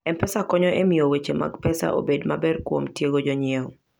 M-Pesa konyo e miyo weche mag pesa obed maber kuom tiego jonyiewo.